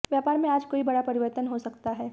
व्यापार में आज कोई बड़ा परिवर्तन हो सकता है